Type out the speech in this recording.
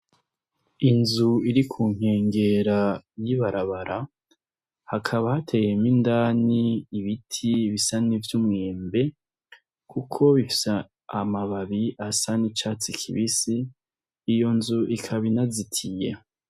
Inzu iri ku nkengera y’ibarabara hakaba hateyemwo indani ibiti bisa nk’ivy’umwembe Kuko bifise amababi asa nk’icatsi kibisi iyo nzu ikaba inazitiye.